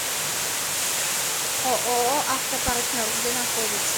ооо автопартнер где находится